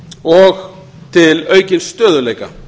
og til aukins stöðugleika